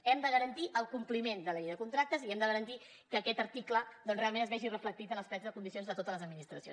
hem de garantir el compliment de la llei de contractes i hem de garantir que aquest article doncs realment es vegi reflectit en els plecs de condicions de totes les administracions